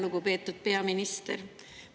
Lugupeetud peaminister!